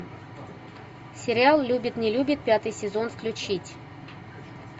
сериал любит не любит пятый сезон включить